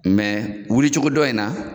wuli cogo dɔ in na